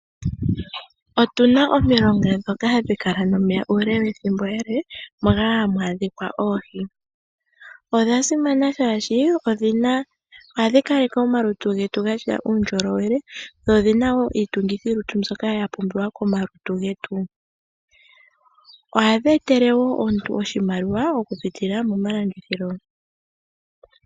Otu na omilonga ndhoka hadhi kala nomeya ethimbo ele moka hamu adhika oohi. Odha simana shaashi ohadhi kaleke omalutu getu ga tya uundjolowele dho odhi na wo iitungithilutu mbyoka ya pumbiwa komalutu getu. Ohadhi etele wo omuntu oshimaliwa okupitila momalandithilo.